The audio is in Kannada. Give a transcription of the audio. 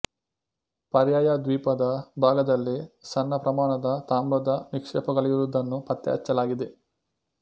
ಪರ್ಯಾಯ ದ್ವೀಪದ ಭಾಗದಲ್ಲಿ ಸಣ್ಣ ಪ್ರಮಾಣದ ತಾಮ್ರದ ನಿಕ್ಷೇಪಗಳಿರುವುದನ್ನು ಪತ್ತೆ ಹಚ್ಚಲಾಗಿದೆ